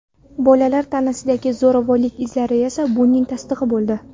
Bolalar tanasidagi zo‘ravonlik izlari esa buning tasdig‘i bo‘ldi.